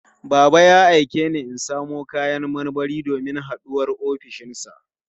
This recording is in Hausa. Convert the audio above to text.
Baba ya aike ni in samo kayan marmari domin haɗuwar ofishinsa.